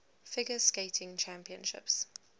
figure skating championships